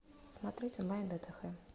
смотреть онлайн дтх